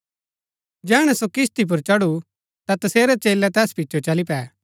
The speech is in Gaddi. जैहणै सो किस्ती पुर चढु ता तसेरै चेलै तैस पिचो चली पै